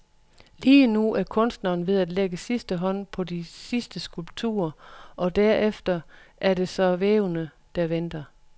Lige nu er kunstneren ved at lægge sidste hånd på de sidste skulpturer, og derefter er det så vævene, der venter.